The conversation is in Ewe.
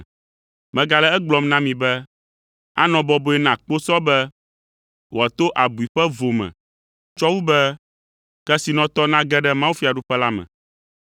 Megale egblɔm na mi be, anɔ bɔbɔe na kposɔ be wòato abui ƒe vo me tsɔ wu be kesinɔtɔ nage ɖe mawufiaɖuƒe la me.”